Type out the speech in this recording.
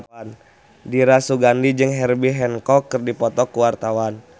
Dira Sugandi jeung Herbie Hancock keur dipoto ku wartawan